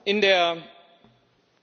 Vielen Dank für die Frage.